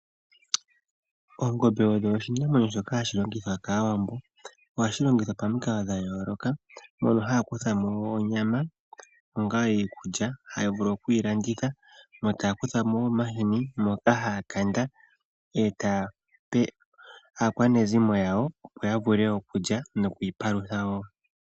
Oongombe odho oshinamwenyo shoka hashi longithwa kAawambo. Ohadhi longithwa pamikalo dha yooloka, mono haya kutha mo onyama onga iikulya haya vulu okuyi landitha. Yo taya kutha mo wo omahini ngoka haya kanda e taya pe aakwanezimo yawo, opo ya vule okulya noku ipalutha wo.